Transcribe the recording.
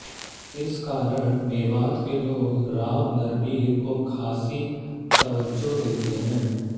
इस कारण मेवात के लोग राव नरबीर को खासी त्वज्जो देते हैं